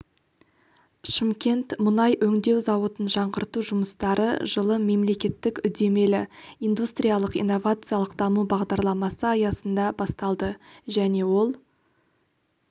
шымкент мұнай өңдеу зауытын жаңғырту жұмыстары жылы мемлекеттік үдемелі индустриялық-инновациялық даму бағдарламасы аясында басталды және ол